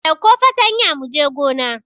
Ɗauko fatanya mu je gona!